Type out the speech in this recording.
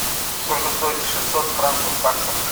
сколько стоят шестьсот франков в баксах